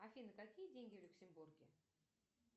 афина какие деньги в люксембурге